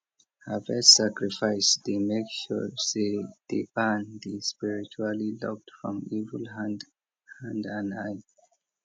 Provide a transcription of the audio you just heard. harvest sacrifice dey make sure say di barn dey spiritually locked from evil hand hand and eye